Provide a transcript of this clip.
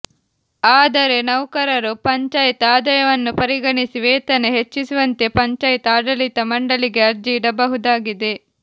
ಆದರೆ ನೌಕರರು ಪಂಚಾಯತ್ ಆದಾಯವನ್ನು ಪರಿಗಣಿಸಿ ವೇತನ ಹೆಚ್ಚಿಸುವಂತೆ ಪಂಚಾಯತ್ ಆಡಳಿತ ಮಂಡಳಿಗೆ ಅರ್ಜಿ ಇಡಬಹುದಾಗಿದೆ